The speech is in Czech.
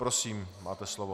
Prosím, máte slovo.